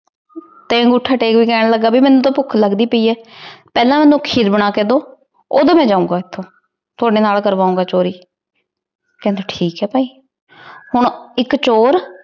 ਤੇ ਅਨ੍ਗੋਥਾ ਟੇਕ ਕਹਨ ਲਗਾ ਭੀ ਮੇਨੂ ਤੇ ਭੋਕ ਲਗਦੀ ਪੈ ਆਯ ਪੇਹ੍ਲਾਂ ਮੇਨੂ ਖੀਰ ਬਣਾ ਕੇ ਦੋ ਓਦੋਂ ਮੈਂ ਜੋਉਣ ਗਾ ਏਥੋਂ ਤੁਹਾਡੀ ਨਾਲ ਕਰਵਾਓ ਗਾ ਚੋਰੀ ਕੇਹੰਡੀ ਠੀਕ ਆਯ ਪੈ ਹਨ ਏਇਕ ਚੋਰ